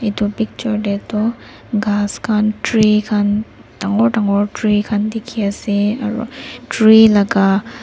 etu picture te tu ghas khan tree khan dangor dangor tree khan dikhi se aroo tree laga --